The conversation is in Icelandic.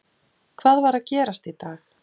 Hvað var að gerast í dag?